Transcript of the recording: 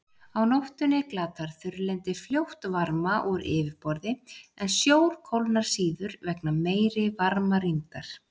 Á nóttunni glatar þurrlendi fljótt varma úr yfirborði, en sjór kólnar síður vegna meiri varmarýmdar.